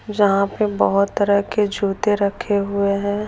जहाँ पे बहुत तरह के जूते रखे हुए हैं।